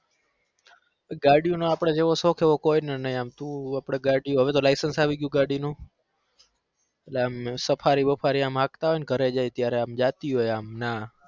ગાડીયોનો આપણે જેવો શોખ છે ને એવો કોઈ નો નઈ એમ તું આપણે ગાડીયો હવે licence આવી ગયું ગાડીનું એટલે એમ safari બફારી આમ હાંકતા હોય ને ઘરે જઈ ત્યારે આમ જાતી હોય આમ ના